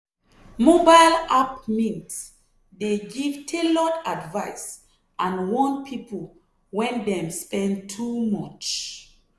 mobile app mint dey give tailored advice and warn people when dem spend too much.